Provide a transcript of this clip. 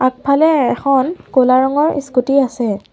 আগফালে এখন ক'লা ৰঙৰ ইস্কুটী আছে।